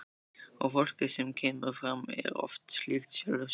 Og fólkið sem kemur fram er oft líkt sjálfu sér.